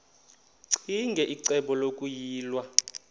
ccinge icebo lokuyilwa